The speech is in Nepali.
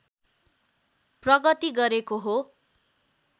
प्रगति गरेको हो